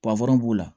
b'u la